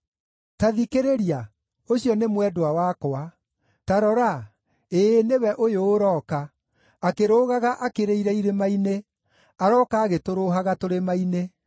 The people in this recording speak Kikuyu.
Ta thikĩrĩria, ũcio nĩ mwendwa wakwa! Ta rora! Ĩĩ nĩwe ũyũ ũroka, akĩrũgaga akĩrĩire irĩma-inĩ, arooka agĩtũrũhaga tũrĩma-inĩ.